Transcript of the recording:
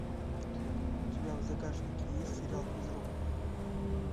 у тебя в загашнике есть сериал физрук